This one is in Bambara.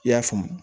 I y'a faamu